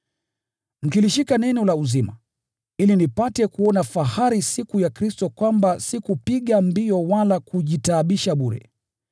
Mkilishika neno la uzima, ili nipate kuona fahari siku ya Kristo kwamba sikupiga mbio wala kujitaabisha bure.